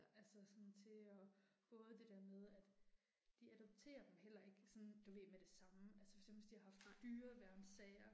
Altså sådan til og, både det der med at. De adopterer dem heller ikke sådan du ved, med det samme, altså for eksempel hvis de har haft dyreværnssager